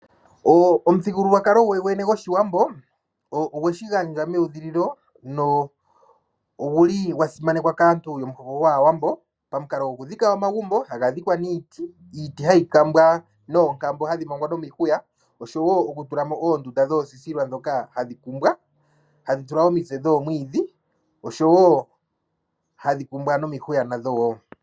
Omuthigulwakalo gOshiwambo ogwe shi gandja meudhililo nogwa simanekwa kaantu yomuhoko gwAawambo pamukalo gokudhika omagumbo haga dhikwa niiti. Iiti hayi kambwa noonkambo hadhi mangwa nomihuya oshowo okutula mo oondunda dhoosisilwa ndhoka hadhi tulwa omitse dhoowiidhi ndhoka hadhi kumbwa nomihuya wo.